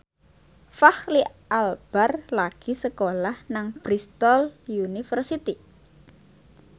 Fachri Albar lagi sekolah nang Bristol university